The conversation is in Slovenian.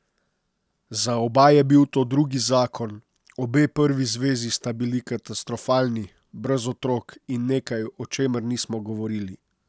Za oba je bil to drugi zakon, obe prvi zvezi sta bili katastrofalni, brez otrok in nekaj, o čemer nismo govorili.